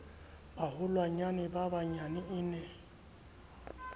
baholwanyane ba bananyana e ne